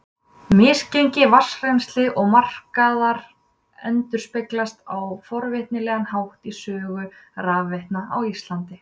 misgengi vatnsrennslis og markaðar endurspeglast á forvitnilegan hátt í sögu rafveitna á íslandi